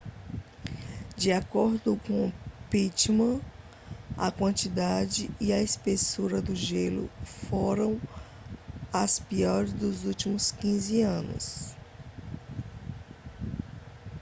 de acordo com pittman a quantidade e a espessura do gelo foram as piores dos últimos 15 anos